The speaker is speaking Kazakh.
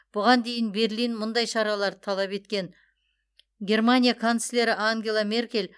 бұған дейін берлин мұндай шараларды талап еткен германия канцлері ангела меркель